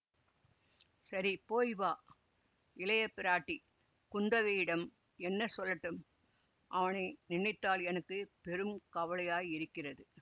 சரி போய் வா இளையபிராட்டி குந்தவையிடம் என்ன சொல்லட்டும் அவனை நினைத்தால் எனக்கு பெரு கவலையாயிருக்கிறது